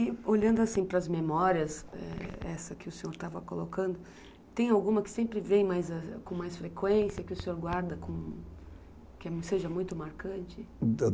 E olhando para as memórias, é, essa que o senhor estava colocando, tem alguma que sempre vem com mais frequência, que o senhor guarda, que seja muito marcante?